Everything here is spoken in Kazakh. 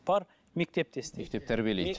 бар мектепте істе мектеп тәрбиелейді